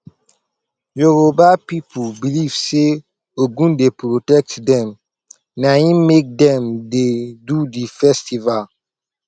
yoruba pipu beliv sey ogun dey protect dem naim make dem dey do di festival